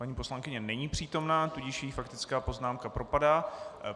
Paní poslankyně není přítomna, tudíž jí faktická poznámka propadá.